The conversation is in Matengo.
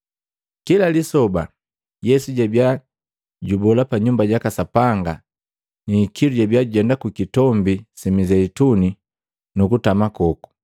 Kila lisoba, Yesu jabiya jubola pa Nyumba jaka Sapanga, ni ikilu jabia jujenda mwi Kitombi si Mizeituni nu kutama koku.